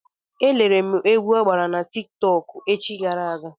E lere m egwu ọ gbara na Tik tọk echi gara aga.